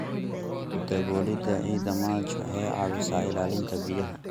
Ku daboolida ciidda mulch waxay caawisaa ilaalinta biyaha.